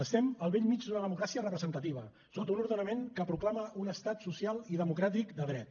estem al bell mig d’una democràcia representativa sota un ordenament que proclama un estat social i democràtic de dret